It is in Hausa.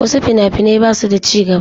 Wasu fina-finai ba su da ci gaba.